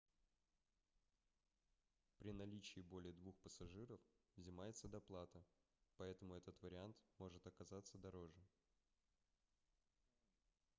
при наличии более двух пассажиров взимается доплата поэтому этот вариант может оказаться дороже